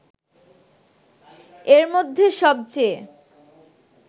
এর মধ্যে সবচেয়ে